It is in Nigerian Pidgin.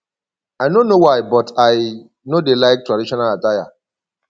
i no know why but i no dey like traditional attire